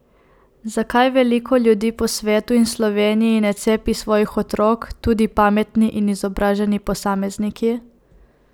Zakaj veliko ljudi po svetu in Sloveniji ne cepi svojih otrok, tudi pametni in izobraženi posamezniki?